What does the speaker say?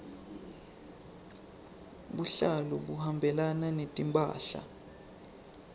buhlalu buhambelana netimphahla